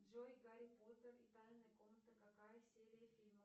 джой гарри поттер и тайная комната какая серия фильма